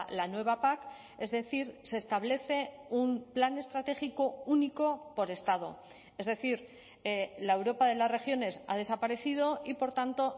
la nueva pac es decir se establece un plan estratégico único por estado es decir la europa de las regiones ha desaparecido y por tanto